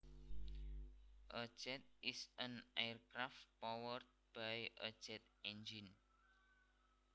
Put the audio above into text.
A jet is an aircraft powered by a jet engine